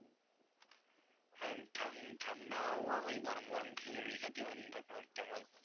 হ্যাঁ ঠান্~ ঠান্ডা আবহওয়ায় গরম গরম খিঁচুড়ি খেতে খেতে অন্যরকম একটা মজা।